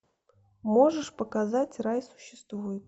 можешь показать рай существует